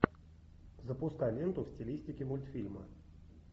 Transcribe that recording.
запускай ленту в стилистике мультфильма